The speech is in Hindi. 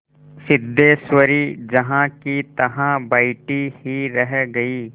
सिद्धेश्वरी जहाँकीतहाँ बैठी ही रह गई